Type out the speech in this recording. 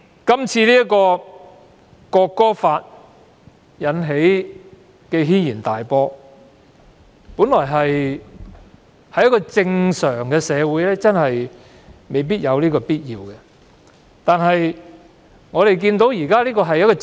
《條例草案》引起軒然大波，假如我們身處一個正常社會，事情真的未必會發展到這個地步。